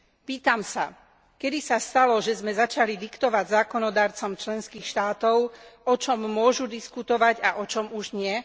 Pýtam sa, kedy sa stalo, že sme začali diktovať zákonodarcom členských štátov, o čom môžu diskutovať a o čom už nie?